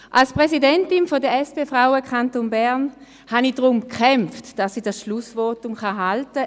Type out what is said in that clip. Als Präsidentin der SP-Frauen Kanton Bern habe ich darum gekämpft, dieses Schlussvotum zu halten.